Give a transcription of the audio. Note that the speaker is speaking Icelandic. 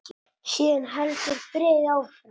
Síðan heldur bréfið áfram